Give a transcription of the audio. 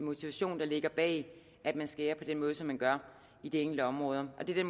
motivation der ligger bag at man skærer ned på den måde som man gør i de enkelte områder og det er